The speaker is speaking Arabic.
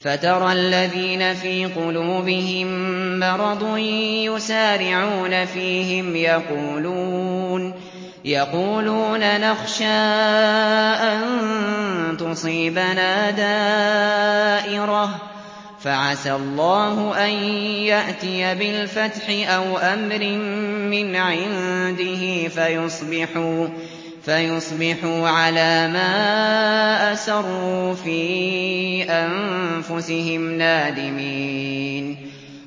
فَتَرَى الَّذِينَ فِي قُلُوبِهِم مَّرَضٌ يُسَارِعُونَ فِيهِمْ يَقُولُونَ نَخْشَىٰ أَن تُصِيبَنَا دَائِرَةٌ ۚ فَعَسَى اللَّهُ أَن يَأْتِيَ بِالْفَتْحِ أَوْ أَمْرٍ مِّنْ عِندِهِ فَيُصْبِحُوا عَلَىٰ مَا أَسَرُّوا فِي أَنفُسِهِمْ نَادِمِينَ